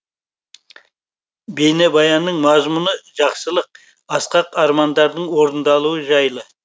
бейнебаянның мазмұны жақсылық асқақ армандардың орындалуы жайлы